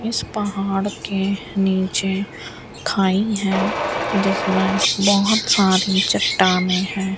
इस पहाड़ के नीचे खाई है जिसमें बहोत सारी चट्टाने है।